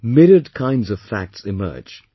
Myriad kind of facts emerges